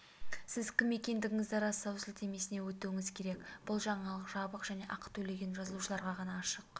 сіз кім екендігіңізді растау сілтемесіне өтуіңіз керек бұл жаңалық жабық және ақы төлеген жазылушыларға ғана ашық